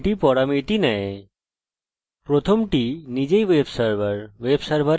আমি এই সময় কম্পিউটার লোকাল ওয়েবসার্ভারের সাথে লোকাল হোস্টের সাথে ব্যবহার করব